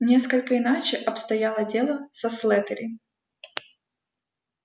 несколько иначе обстояло дело со слэттери